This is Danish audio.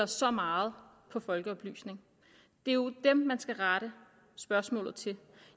så meget på folkeoplysning det er jo dem man skal rette spørgsmålet til